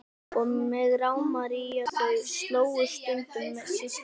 Og mig rámar í að þau slógust stundum systkinin.